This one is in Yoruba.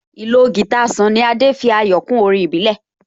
Ìlò guitar Sunny Adé fi ayọ̀ kún orin ìbílẹ̀